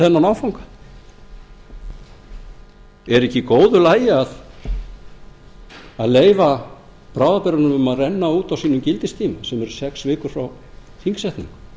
þennan áfanga er ekki í góðu lagi að leyfa bráðabirgðalögunum að renna út á sínum gildistíma sem eru sex vikur frá þingsetningu